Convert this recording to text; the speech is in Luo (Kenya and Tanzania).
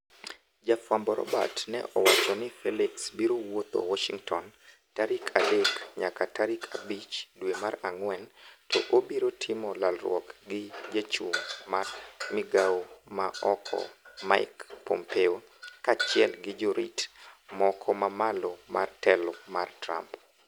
Jafwambo Robert ne owacho ni Felix biro woutho Warshington tarik adek nyaka tarik abich dwe mar ang'wen to obiro timo lalruok gi chachung mar migawo ma oko Mike Pompeo kaachiel gi jorit moko mamalo mar telo mar Trump.